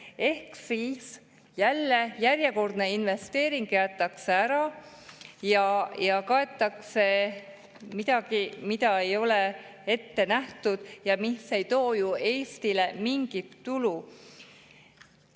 Ehk siis järjekordne investeering jäetakse ära ja kaetakse midagi, mida ei ole ette nähtud ja mis ei too Eestile mingit tulu.